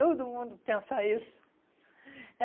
Todo mundo pensa isso. É